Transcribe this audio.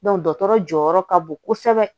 dɔkɔtɔrɔ jɔyɔrɔ ka bon kosɛbɛ